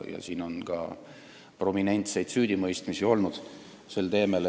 Meil on olnud ka prominentseid süüdimõistmisi sel teemal.